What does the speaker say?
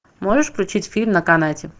можешь включить фильм на канате